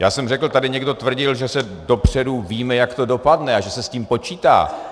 Já jsem řekl, tady někdo tvrdil, že se dopředu ví, jak to dopadne, a že se s tím počítá.